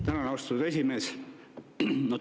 Tänan, austatud esimees!